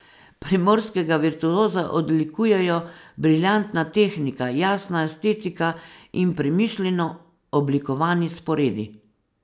Primorskega virtuoza odlikujejo briljantna tehnika, jasna estetika in premišljeno oblikovani sporedi.